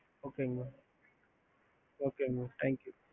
ஹம்